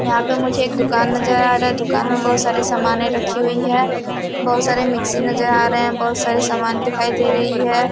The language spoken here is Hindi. यहां पे मुझे एक दुकान नजर आ रहा है। दुकान में बहोत सारे समाने रखी हुई है। बहुत सारे मिक्सी नजर आ रहे है। बहोत सारे समाने दिखाई दे रही है।